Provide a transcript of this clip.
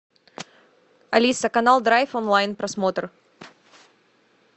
алиса канал драйв онлайн просмотр